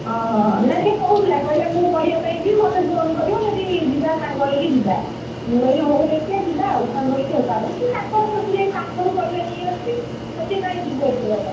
ଓଃ ହୋ ହୋ ନା ସେ କହୁଥିଲା କହିଲା ମୁଁ ପରିବା ପାଇଁ ଯିବି ମତେ phone କରିବ ଯଦି ଯିବା ସାଙ୍ଗ ହେଇକି ଯିବା! ମୁଁ କହିଲି ହଉ ଦେଖିବା ଯିବ ଆଉ ସାଙ୍ଗ ହେଉକି ତାପରେ ସେ ତାଙ୍କର ସେଠୁ ଯାଇ ପାଖରୁ ପରିବା ନେଇଆସୁଛି ତ ସେ କାଇଁ ଯିବ ଏତେ ବାଟ?